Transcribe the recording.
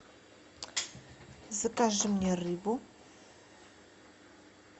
закажи мне рыбу